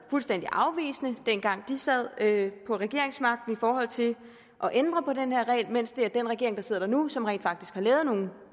fuldstændig afvisende dengang de sad på regeringsmagten i forhold til at ændre på den her regel mens det er den regering der sidder nu som rent faktisk har lavet nogle